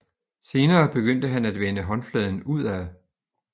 Senere begyndte han at vende håndfladen udad